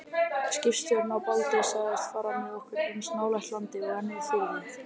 Skipstjórinn á Baldri sagðist fara með okkur eins nálægt landi og hann þyrði.